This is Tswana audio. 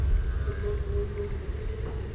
le tse dingwe tse di